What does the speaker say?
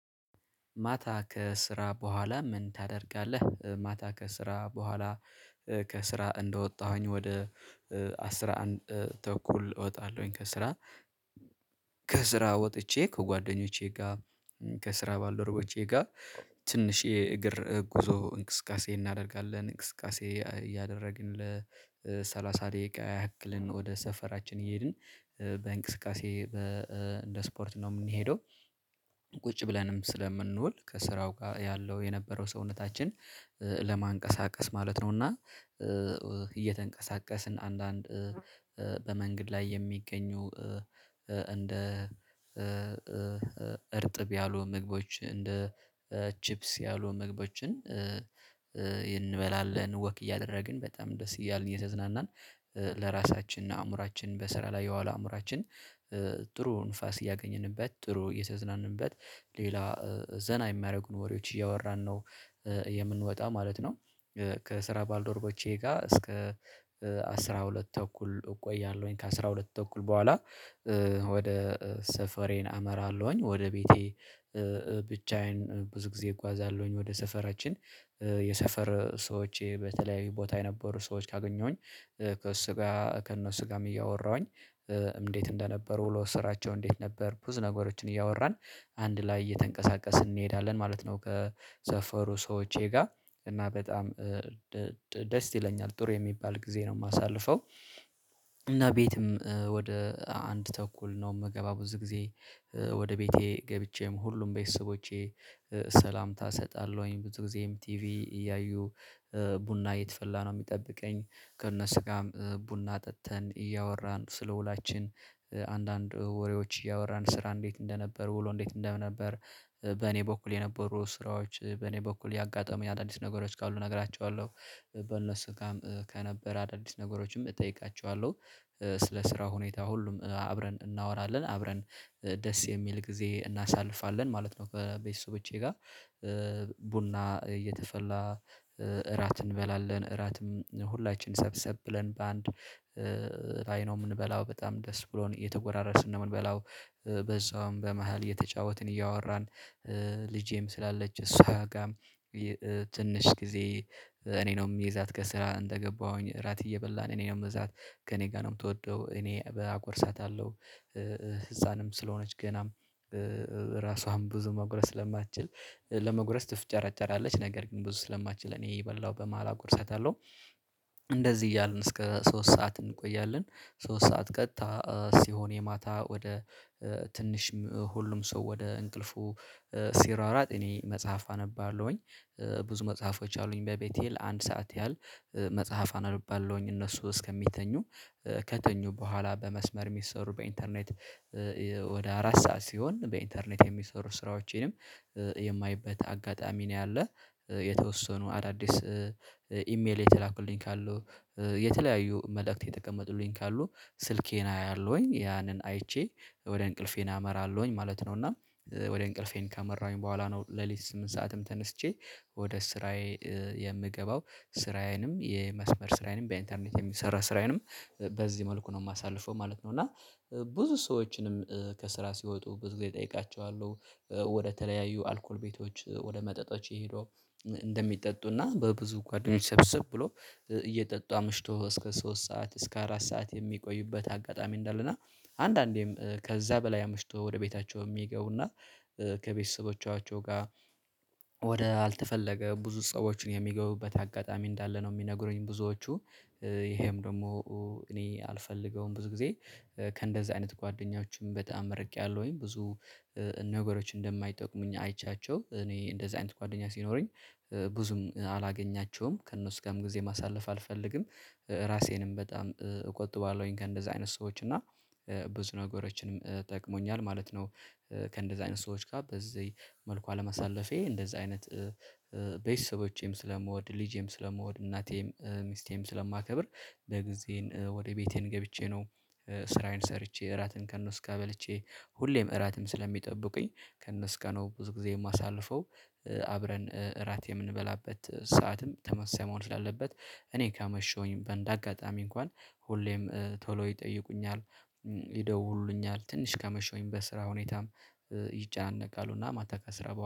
ማታ ከስራ በኋላ ምን ታደርጋለህ? ማታ ከስራ በኋላ ከስራ እንደወጣሁኝ ወደ አስራ አንድ ተኩል እወጣለሁኝ ከስራ። ከስራ ወጥቼ ከጓደኞቼ ጋ ከስራ ባልደረቦቼ ጋ ትንሽ የእግር ጉዞ እንቅስቃሴ እናደርጋለን እንቅስቃሴ እያደረግን ለሰላሳ ደቂቃ ያህክልን ወደ ሰፈራችን እየሄድን በእንቅስቃሴ በ እንደ ስፖርት ነው የምንሄደው። ቁጭ ብለንም ስለምንውል ከስራው ጋር ያለው የነበረው ሰውነታችን ለማንቀሳቀስ ማለት ነው። እና እየተንቀሳቀስን አንዳንድ በመንግድ ላይ የሚገኙ እንደ እርጥብ ያሉ ምግቦች እንደ ቺፕስ ያሉ ምግቦችን ወክ እያደረግን በጣም ደስ እያልን እየተዝናናን ለራሳችን አእምሮአችን በስራ ላይ የዋለ አእምሮአችን ጥሩ ንፋስ እያገኘንበት ጥሩ እየተዝናንበት ሌላ ዘና የሚያረጉን ወሬዎች እያወራን ነው የምንወጣው ማለት ነው። ከስራ ባልዶሮቦቼ ጋ እስከ አስራ ሁለት ተኩል እቆያለሁኝ ከአስራ ሁለት ተኩል በኋላ ወደ ሰፈሬን አመራለሁኝ። ወደ ቤቴ ብቻዬን ብዙ ጊዜ እጓዛለሁኝ ወደ ሰፈራችን የሰፈር ሰዎች በተለያዩ ቦታ የነበሩ ሰዎች ካገኘሁኝ ከሱ ጋ ከእነሱ ጋም እያወራሁኝ እንዴት እንደነበሩ ውሎ ስራቸው እንዴት ነበር ብዙ ነገሮችን እያወራን አንድ ላይ እየተንቀሳቀስን እንሄዳለን ማለት ነው። ከሰፈሩ ሰዎቼ ጋ እና በጣም ደስ ይለኛል ጥሩ የሚባል ጊዜ ነው ማሳልፈው። እና ቤትም ወደ አንድ ተኩል ነው ምገባው ብዙ ጊዜ ወደ ቤቴ ገብቼም ሁሉም ቤተሰቦቼ ሰላምታ እሰጣለሁኝ ብዙ ጊዜም ቲቪ እያዩ ቡና የተፈላ ነው የሚጠብቀኝ። ከእነሱ ጋ ቡና ጠጥተን እያወራን ስለ ውሏችን አንዳንድ ወሬዎች እያወራን ስራ እንዴት እንደነበር ውሎ እንዴት እንደነበር በኔ በኩል የነበሩ ስራዎች በኔ በኩል ያጋጠሙ የአዳዲስ ነገሮች ካሉ እነግራችዋለው ከነሱ ጋም ከነበረ አዳዲስ ነገሮችም እጠይቃችዋለው ስለ ስራ ሁኔታ ሁሉም አብረን እናወራለን አብረን ደስ የሚል ጊዜ እናሳልፋለን ማለት ነው። በቤተሰቦቼ ጋ ቡና እየተፈላ እራት እንበላለን እራትም ሁላችን ሰብሰብ ብለን በአንድ ላይ ነው የምንበላው በጣም ደስ ብሎን እየተጎራረስን ነው ምንበላው በዛውም በመሃል እየተጫወትን እያወራን ልጄም ስላለች እሷ ጋም ትንሽ ጊዜ እኔ ነው እሚዛት ከስራ እንደገባሁኝ እራት እየበላን እኔ ነው ምዛት ከኔ ጋር ነው የምትወደው እኔ በ አጎርሳታለው። ህፃንም ስለሆነች ገናም ራሷም ብዙ መጉረስ ስለማትችል ለመጉረስ ትፍጨራጨራለች ነገር ግን ብዙ ስለማትችል እኔ የበላው በመሃል አጎርሰታለው። እንደዚህ እያልን እስከ ሶስት ሰዓት እንቆያለን ሶስት ሰዓት ቀጥታ ሲሆን የማታ ወደ ትንሽ ሁሉም ሰው ወደ እንቅልፉ ሲሯሯጥ እኔ መጽሐፍ አነባለሁኝ። ብዙ መጽሐፎች አሉኝ በቤቴ ለአንድ ሰዓት ያህል መጽሐፍ አነባለሁኝ እነሱ እስከሚተኙ ከተኙ በኋላ በመስመር የሚሰሩ በኢንተርኔት ወደ አራት ሰዓት ሲሆን በኢንተርኔት የሚሰሩ ስራዎቼንም የማይበት አጋጣሚ ነው ያለ የተወሰኑ አዳዲስ ኢሜል የተላኩልኝ ካሉ የተለያዩ መልእክት የተቀመጡልኝ ካሉ ስልኬን አያለሁኝ ያንን አይቼ ወደ እንቅልፌ ኣመራለሁኝ ማለት ነው። እና ወደ እንቅልፌን ካመራሁኝ በኋላ ነው ሌሊት ስምንት ሰዓትም ተነስቼ ወደ ስራዬ የምገባው ስራዬንም የመስመር ስራዬንም በኢንተርኔት የሚሰራ ስራዬንም በዚህ መልኩ ነው ማሳልፈው ማለት ነው። እና ብዙ ሰዎችንም ከስራ ሲወጡ ብዙ ጊዜ እጠይቃችዋለው ወደ ተለያዩ አልኮል ቤቶች ወደ መጠጦች ሂዶው እንደሚጠጡና በብዙ ጓደኞች ሰብሰብ ብሎ እየጠጡ አምሽቶ እስከ ሶስት ሰዓት እስከ አራት ሰዓት የሚቆዩበት አጋጣሚ እንዳለና አንዳንዴም ከዛ በላይ አምሽቶ ወደ ቤታቸው ሚገቡና ከቤተሰቦቻቸው ጋ ወደ አልተፈለገ ብዙ ሰዎችን የሚገቡበት አጋጣሚ እንዳለ ነው። የሚነግሩኝ ብዙዎቹ ይሄም ደሞ እኔ አልፈልገውም ብዙ ጊዜ ከእንደዚህ አይነት ጓደኞች በጣም ርቄያለሁኝ። ብዙ ነገሮች እንደማይጠቁሙኝ አይቻቸው እኔ እንደዚህ አይነት ጓደኛ ሲኖረኝ ብዙም አላገኛቸውም ከእነሱ ጋም ጊዜ ማሳለፍ አልፈልግም ራሴንም በጣም እቆጥበዋለሁኝ ከእንደዚህ አይነት ሰዎች እና ብዙ ነገሮችንም ጠቅሞኛል ማለት ነው። ከእንደዚህ አይነት ሰዎች ጋ በዚህ መልኩ አለመሳለፌ እንደዛ አይነት ቤተሰቦቼም ስለምወድ ልጄም ስለምወድ እናቴም ሚስቴም ስለማከብር በጊዜን ወደ ቤቴን ገብቼ ነው። ስራዬን ሰርቼ እራትን ከነሱ ጋ በልቼ ሁሌም እራትም ስለሚጠብቁኝ ከእነሱ ጋ ነው ብዙ ጊዜ እማሳልፈው። አብረን እራት የምንበላበት ሰዓትም ተመሳሳይ መሆን ስላለበት እኔ ካመሸሁኝ በእንደ አጋጣሚ እንኳን ሁሌም ቶሎ ይጠይቁኛል ይደውሉልኛል ትንሽ ካመሸሁኝ በስራ ሁኔታም ይጨናነቃሉና ማታ ከስራ